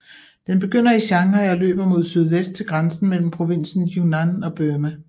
Den begynder i Shanghai og løber mod sydvest til grænsen mellem provinsen Yunnan og Burma